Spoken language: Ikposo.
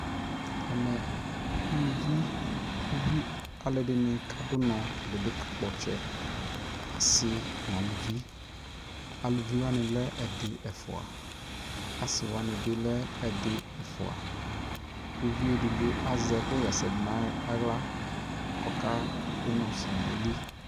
ɛmɛ ʋlʋvi, alʋɛdini kadʋ ʋnɔ, ɛdibi ka kpɔ ɔtsɛ, asii nʋ alʋvi, alʋvi wani lɛ ɛdi, ɛfʋa, asiiwani bi lɛ ɛdi, ɛƒʋa, ʋviɛ ɛdigbɔ azɛ ɛkʋ yɛsɛ dʋ nʋ ala kʋ ɔka dʋnɔ zɔnʋ ayili